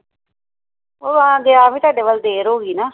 ਉਹ ਆ ਗਿਆ ਵੀ ਤੁਹਾਡੇ ਵੱਲ ਦੇਰ ਹੋ ਗਈ ਨਾ